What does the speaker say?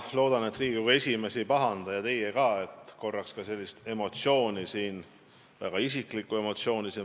Ma loodan, et Riigikogu esimees ei pahanda ja teie ka mitte, et ma korraks väljendan siin väga isiklikku emotsiooni.